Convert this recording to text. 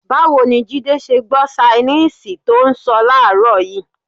Báwo ni Jídé ṣe gbọ́ ṣainíìsì tó ń sọ láàárọ̀ yìí?